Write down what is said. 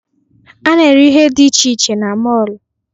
A na-ere ihe dị iche iche na mọọlụ.